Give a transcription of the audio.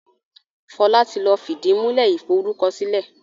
Fola tí lọ fìdìmúlẹ́ iforúkọsílẹ̀